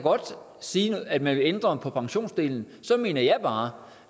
sige at man vil ændre på pensionsdelen så mener jeg bare